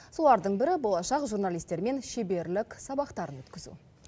солардың бірі болашақ журналистермен шеберлік сабақтарын өткізу